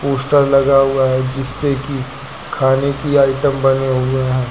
Poster लगा हुआ है जिसपे कि खाने की आइटम बने हुए हैं।